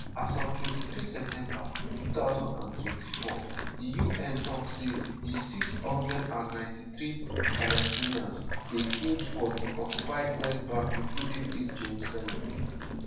as of 23 september 2024 di un tok say di 693 palestinians dey killed for di occupied west bank including east jerusalem.